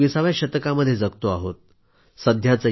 आपण एकविसाव्या शतकामध्ये जगतो आहोत